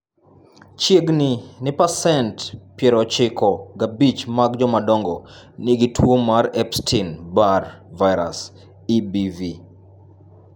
Chiegni ni pasent 95 mag jomadongo nigi tuwo mar Epstein Barr virus (EBV).